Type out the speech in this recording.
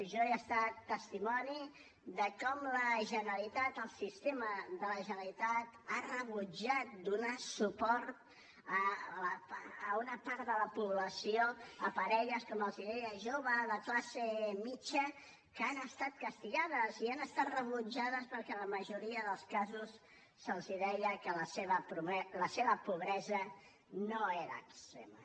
jo he estat testimoni de com la generalitat el sistema de la generalitat ha rebutjat donar suport a una part de la població a parelles com els deia joves de classe mitjana que han estat castigades i han estat rebutjades perquè en la majoria dels casos se’ls deia que la seva pobresa no era extrema